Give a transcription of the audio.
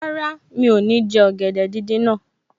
Rárá, mi ò ní jẹ ọ̀gẹ̀dẹ̀ díndín náà